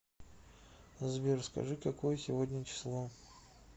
сбер скажи какое сегодня число